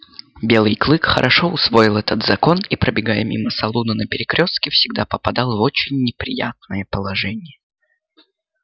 белый клык хорошо усвоил этот закон и пробегая мимо салуна на перекрёстке всегда попадал в очень неприятное положение